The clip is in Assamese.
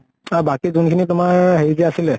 আৰু বাকী যোন খিনি তোমাৰ হেৰি দিয়া আছিলে